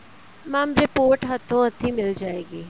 mam report ਹੱਥੋ ਹੱਥੀ ਮਿਲ ਜਾਏਗੀ